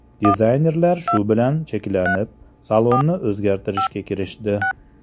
Dizaynerlar shu bilan cheklanib, salonni o‘zgartirishga kirishdi.